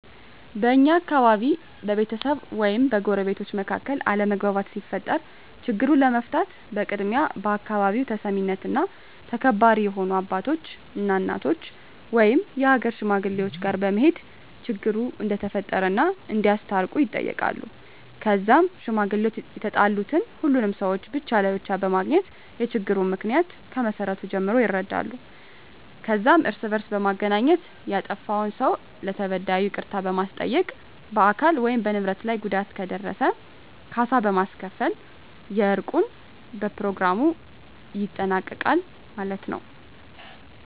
በእኛ አካባቢ በቤተሰብ ወይም በጎረቤቶች መካከል አለመግባባት ሲፈጠር ችግሩን ለመፍታት በቅድሚያ በአካባቢው ተሰሚነትና ተከባሪ የሆኑ አባቶች እና እናቶች ወይም የሀገር ሽማግሌወች ጋር በመሄድ ችግሩ እንደተፈጠረ እና እንዲያስታርቁ ይጠየቃሉ ከዛም ሽማግሌወች የተጣሉትን ሁሉንም ሰውች ብቻ ለብቻ በማግኘት የችግሩን ምክንያ ከመሰረቱ ጀምሮ ይረዳሉ ከዛም እርስ በእርስ በማገናኘት ያጠፍውን ሰው ለተበዳዩ ይቅርታ በማስጠየቅ በአካል ወይም በንብረት ላይ ጉዳት ከደረሰ ካሳ በማስከፈል የእርቁን በኘሮግራሙ ይጠናቀቃል ማለት የው።